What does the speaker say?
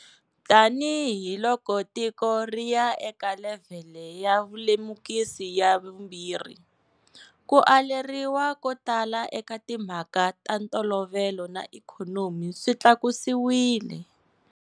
Tanihi loko tiko ri ya eka levhele ya vulemukisi ya vu 2, ku aleriwa ko tala eka timhaka ta ntolovelo na ikhonomi swi tlakusiwile.